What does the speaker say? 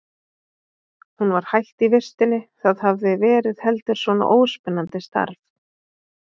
Hún var hætt í vistinni, það hafði verið heldur svona óspennandi starfi.